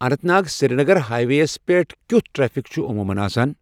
Anant Nag Srinagar highway یس پیٹھ کِیُتھ ٹریفِک چُھ عموٗمن آسان ؟